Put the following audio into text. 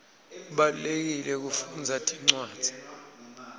kubalulekile kufundza tincwadzi